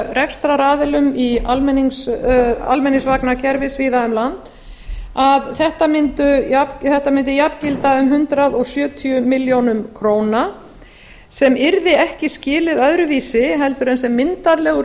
rekstraraðilum í almenningsvagnakerfi víða um land að þetta mundi jafngilda um hundrað sjötíu milljónum króna se yrði ekki skilið öðruvísi en sem myndarlegur